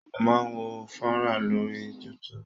Mo máa ń wo fọ́nrán lórí YouTube.